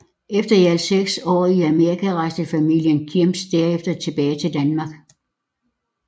Efter i alt seks år i Amerika rejste familien Kjems derefter tilbage til Danmark